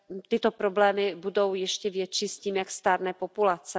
Tyto problémy budou ještě větší s tím, jak stárne populace.